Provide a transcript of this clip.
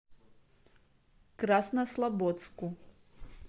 краснослободску